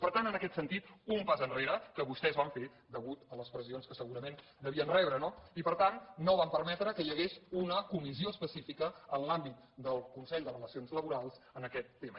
per tant en aquest sentit un pas enrere que vostès van fer a causa de les pressions que segurament devien rebre no i per tant no van permetre que hi hagués una comissió específica en l’àmbit del consell de relacions laborals en aquest tema